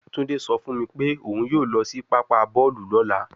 Tunde so fun mi pe oun yoo lo si papa boolu lola